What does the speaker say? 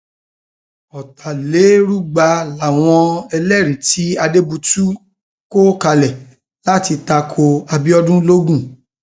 ọtàlérúgba làwọn ẹlẹrìí tí adébútù kọ kalẹ láti ta ko abiodun logun